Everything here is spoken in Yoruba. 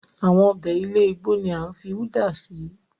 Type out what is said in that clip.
Àwọn ọbẹ̀ ilẹ̀ ìgbò ni à ń fi udá si